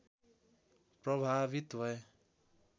प्रभावित भए